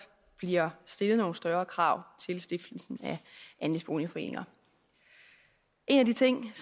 bliver stillet nogle større krav til stiftelsen af andelsboligforeninger en af de ting